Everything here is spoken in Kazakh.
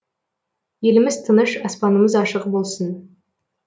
еліміз тыныш аспанымыз ашық болсын